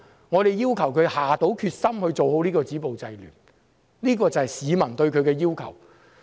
我們要求她下決心做好止暴制亂的工作，這是市民對她的要求。